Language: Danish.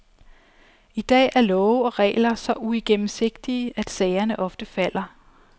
I dag er love og regler så uigennemsigtige, at sagerne ofte falder.